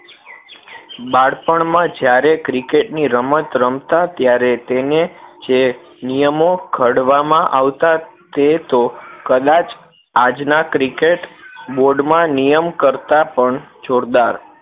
બાળપણ માં જ્યારે cricket ની રમત રમતા ત્યારે તેને જે નિયમો ઘડવામાં આવતા તે તો કદાચ આજ ના cricketboard માં નિયમ કરતાં પણ જોરદાર